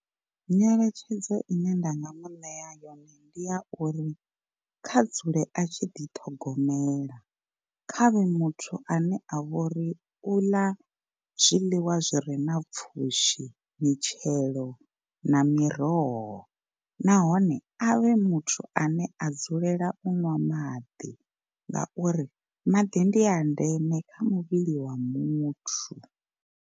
Nyeletshedzo ine nda nga mu ṋea yone ndi ya uri kha dzule a tshi ḓithogomela, khavhe muthu ane a vhori u ḽa zwiḽiwa zwi re na pfhushi mitshelo na miroho nahone avhe muthu ane a dzulela u ṅwa maḓi ngauri maḓi ndi a ndeme kha muvhili wa muthu.